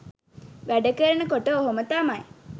වැඩ කරන කොට ඔහොම තමයි.